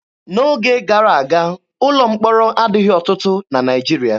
N'oge gara aga, ụlọ mkpọrọ adịghị ọtụtụ na Naịjirịa.